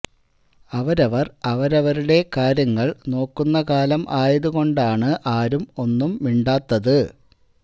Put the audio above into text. അവരവർ അവരവരുടെ കാര്യങ്ങൾ നോക്കുന്ന കാലം ആയത് കൊണ്ടാണു ആരും ഒന്നും മിണ്ടാത്തത്